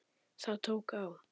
Það tók á.